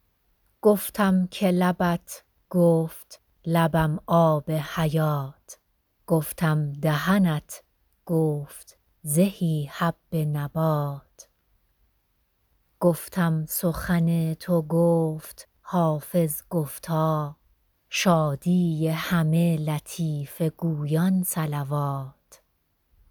گفتم که لبت گفت لبم آب حیات گفتم دهنت گفت زهی حب نبات گفتم سخن تو گفت حافظ گفتا شادی همه لطیفه گویان صلوات